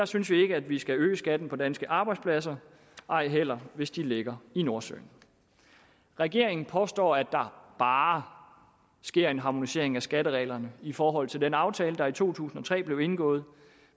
synes vi ikke at vi skal øge skatten på danske arbejdspladser ej heller hvis de ligger i nordsøen regeringen påstår at der bare sker en harmonisering af skattereglerne i forhold til den aftale der i to tusind og tre blev indgået